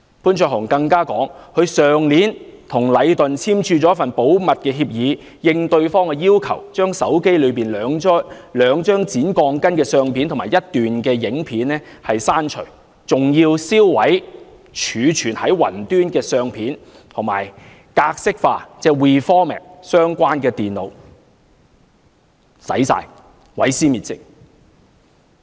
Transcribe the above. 潘焯鴻更指出，他去年與禮頓建築有限公司簽署了一份保密協議，應對方的要求，把手機內兩張剪鋼筋的相片及一段影片刪除，更要銷毀儲存在雲端的相片，以及重新格式化相關的電腦，甚麼都刪除了，毀屍滅跡。